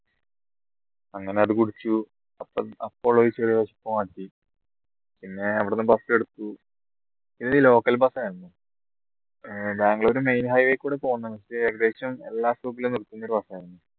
അങ്ങനെ അത് കുടിച് പിന്നെ അവിടുന്ന് bus എടുത്തു local bus ഏർ ബാംഗ്ലൂർ main highway കൂടെ പോന്ന ഏകദേശം എല്ലാ stop